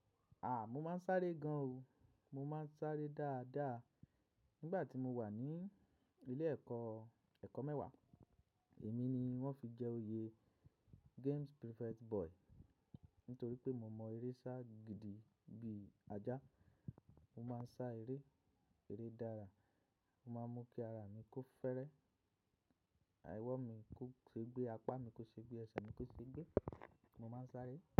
A mo máa ń sáré gan o. Mo máa ń sáré dáadáa. Nígbà tí mo wà ní ilé ẹ̀kọ́, ẹ̀kọ́ mẹ́wàá èmi ni wọ́n fi jẹ oyè Games Prefect Boy nítorí pé mo mọ eré sá gidi bí ajá. Mo máa ń sá eré, eré dára. Mo máa ń mú kí ara mi kó fẹ́rẹ́, owo mi kó ṣe gbé, apá mi kó ṣe gbé, ẹsẹ̀ mi kó ṣe gbé. Mo máa ń sáré.